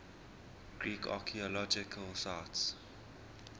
greek archaeological sites